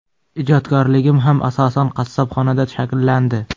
Ijodkorligim ham asosan qassobxonada shakllandi.